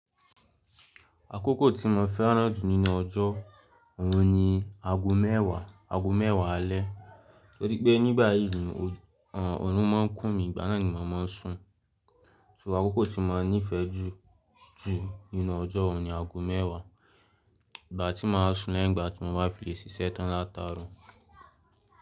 Àkókò tí mo fẹ́ràn jù nínú ọjọ́, òun ni ago mẹ́wàá, ago mẹ́wàá alẹ́. Torí pé nígbà yìí ni ọrùn máa ń kún mi, ìgbà náà ni màá máa ń sùn. So àkókò tí mo níifẹ̀ jù jù nínú ọjọ́ òun ni ago mẹ́wàá. Ìgbà tí màá sùn lẹ́yingbà tí mo bá fi sìsẹ́ tàn látààro.